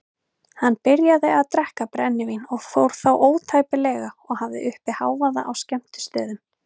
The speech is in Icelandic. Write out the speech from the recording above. Hann byrjaði að drekka brennivín og fór þá ótæpilega og hafði uppi hávaða á skemmtistöðum.